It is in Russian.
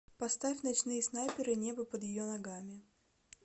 поставь ночные снайперы небо под ее ногами